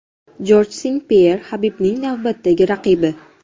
Jorj Sen-Pyer Habibning navbatdagi raqibi.